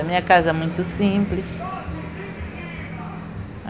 A minha casa é muito simples.